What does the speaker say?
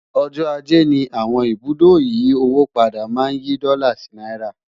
ọjọ ajé ní àwọn ibùdó ìyí owó padà má n yí dòla sí náírà